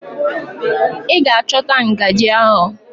Ị ga-achọta ngajị ahụ!